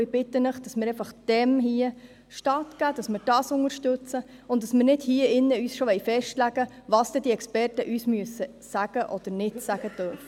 Ich bitte Sie, diesem Auftrag stattzugeben, ihn zu unterstützen und nicht schon jetzt festlegen zu wollen, was diese Experten uns sagen müssen oder nicht sagen dürfen.